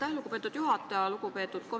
Aitäh, lugupeetud juhataja!